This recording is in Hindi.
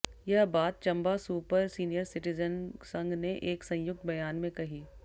यह बात चंबा सुपर सीनियर सिटीजन संघ ने एक संयुक्त ब्यान में कही